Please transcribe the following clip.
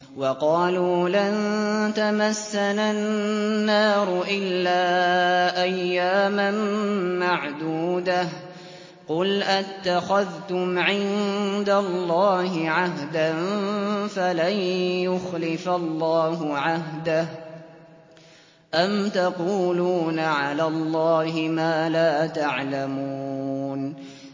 وَقَالُوا لَن تَمَسَّنَا النَّارُ إِلَّا أَيَّامًا مَّعْدُودَةً ۚ قُلْ أَتَّخَذْتُمْ عِندَ اللَّهِ عَهْدًا فَلَن يُخْلِفَ اللَّهُ عَهْدَهُ ۖ أَمْ تَقُولُونَ عَلَى اللَّهِ مَا لَا تَعْلَمُونَ